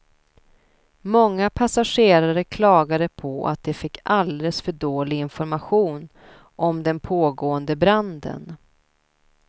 Många passagerare klagade på att de fick alldeles för dålig information om den pågående branden.